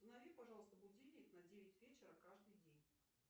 установи пожалуйста будильник на девять вечера каждый день